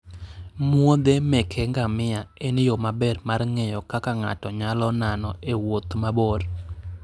muodhe meke ngamia en yo maber mar ng'eyo kaka ng'ato nyalo nano e wuoth mabor.